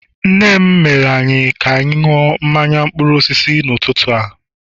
nne m mere ka anyị mmanya mkpụrụ osisi n'ụtụtụ a